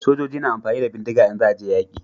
Sojoji na amfani da bindiga in za a je yaƙi